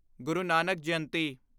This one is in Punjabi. ਗੁਰੂ ਨਾਨਕ ਜਯੰਤੀ